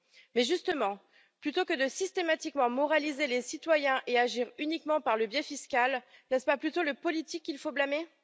Mais justement, plutôt que de systématiquement moraliser les citoyens et agir uniquement par le biais fiscal, n'est ce pas plutôt le politique qu'il faut blâmer?